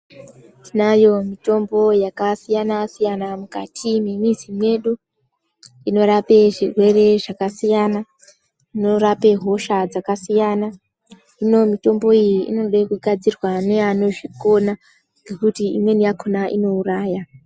Tinayo mitombo yakasiyana -siyana mukati mwemizi mwedu inorapa zvirwere zvakasiyana unorape hosha dzakasiyana zvino mitombo iyi inoda kugadzirwa neanozvikona nekuti imweni yakona inouraya .